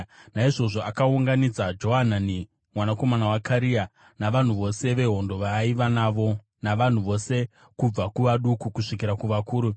Naizvozvo akaunganidza Johanani mwanakomana waKarea navakuru vose vehondo vaaiva navo navanhu vose kubva kuvaduku kusvikira kuvakuru.